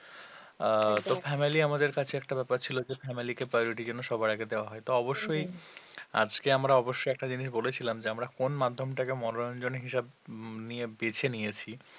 আহ তো family আমাদের কাছে একটা ব্যাপার ছিল যে family কে priority যেন সবার আগে দেওয়া হয় তো অবশ্যই আজকে আমরা অবশ্যই একটা জিনিস বলেছিলাম যে আমরা কোন মাধ্যমটাকে মনোরঞ্জন হিসাবে নিয়ে বেছে নিয়েছি